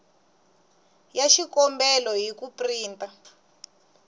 ya xikombelo hi ku printa